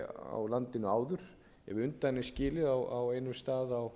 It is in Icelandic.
á landinu áður ef undan er skilið á einum stað á